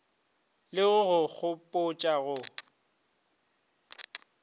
le go go gopotša go